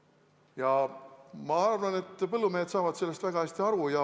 Ja ma arvan, et põllumehed saavad sellest väga hästi aru.